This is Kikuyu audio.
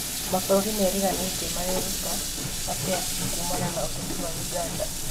Mabũrũri mariganĩtie mareruta atĩa kumana na ũteti wa Ũganda